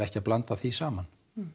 ekki að blanda því saman